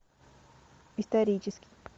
исторический